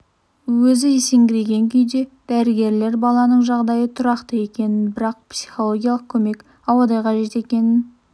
өзі есеңгіреген күйде дәрігерлер баланың жағдайы тұрақты екенін бірақ оған психологиялық көмек ауадай қажет екенін